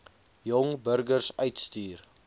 jong burgers uitstuur